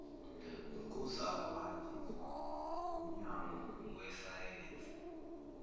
nkuzakuhanjiswa ngumnyango wesayensi